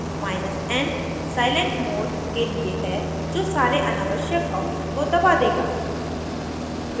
n silent mode के लिए है जो सारे अनावश्यक output को दबा देगा